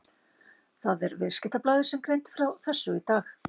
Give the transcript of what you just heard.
Það er Viðskiptablaðið sem greindi frá þessu í dag.